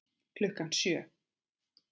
Klukkan sjö.